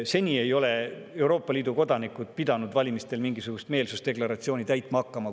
Seni ei ole Euroopa Liidu kodanikud pidanud valimistel mingisugust meelsusdeklaratsiooni täitma.